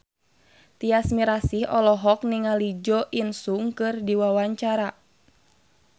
Tyas Mirasih olohok ningali Jo In Sung keur diwawancara